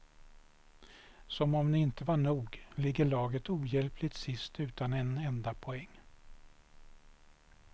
Som om inte det var nog ligger laget ohjälpligt sist utan en enda poäng.